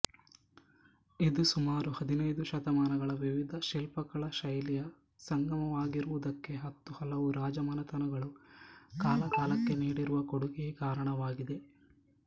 ಇದು ಸುಮಾರು ಹದಿನೈದು ಶತಮಾನಗಳ ವಿವಿಧ ಶಿಲ್ಪಕಲಾ ಶೈಲಿಯ ಸಂಗಮವಾಗಿರುವುದಕ್ಕೆ ಹತ್ತು ಹಲವು ರಾಜಮನೆತನಗಳು ಕಾಲಕಾಲಕ್ಕೆ ನೀಡಿರುವ ಕೊಡುಗೆಯೇ ಕಾರಣವಾಗಿದೆ